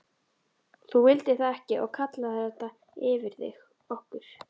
Þú vildir það ekki og kallaðir þetta yfir þig, okkur.